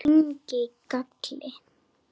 Ég kyngi galli.